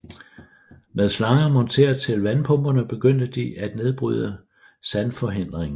Med slanger monteret til vandpumperne begyndte de at nedbryde sandforhindringen